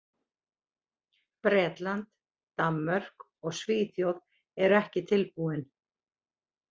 Bretland, Danmörk og Svíþjóð eru ekki tilbúin.